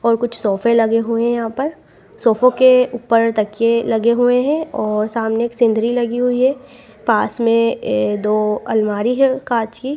और कुछ सोफे लगे हुए हैं यहां पर सोफो के ऊपर तकिये लगे हुए हैं और सामने एक सिनधरी लगी हुई है पास में ए दो अलमारी है कांच की।